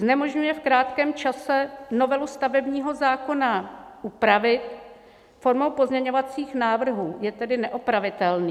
Znemožňuje v krátkém čase novelu stavebního zákona upravit formou pozměňovacích návrhů, je tedy neopravitelný.